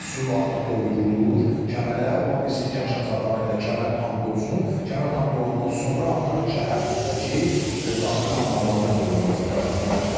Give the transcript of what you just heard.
Su artıq doldurulur kəmərə, ola bilsin ki, axşam saatlarına qədər kəmər tam dolsun, kəmər tam dolandan sonra artıq şəhərdəki daxili anbarların doldurulması prosesinə başlanılacaq.